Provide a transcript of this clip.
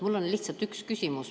Mul on lihtsalt üks küsimus.